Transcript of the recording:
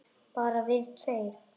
Bara við tveir?